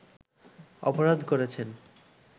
অপরাধ করেছেন